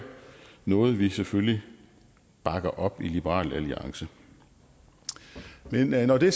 noget vi jo selvfølgelig bakker op i liberal alliance men når det